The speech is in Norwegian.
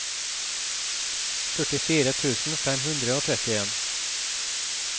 førtifire tusen fem hundre og trettien